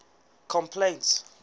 complaints